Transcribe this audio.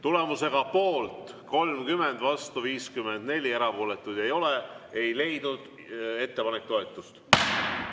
Tulemusega poolt 30, vastu 54, erapooletuid ei ole, ei leidnud ettepanek toetust.